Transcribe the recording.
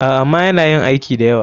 A,ama yana yin aiki dayawa.